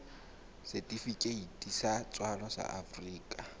setifikeiti sa tswalo sa afrika